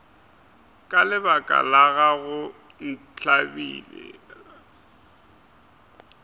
ka lebaka la gago ntlabile